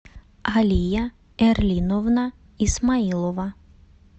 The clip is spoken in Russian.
алия эрлиновна исмаилова